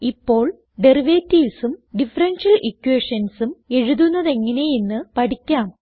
ഇപ്പോൾ Derivativesഉം ഡിഫറൻഷ്യൽ equationsഉം എഴുതുന്നതെങ്ങനെ എന്ന് പഠിക്കാം